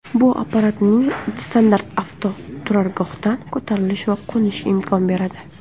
Bu apparatning standart avtoturargohdan ko‘tarilishi va qo‘nishiga imkon beradi.